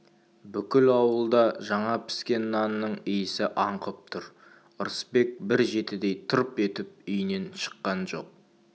бүкіл ауылда жаңа піскен нанның иісі аңқып тұр ырысбек бір жетідей тырп етіп үйінен шыққан жоқ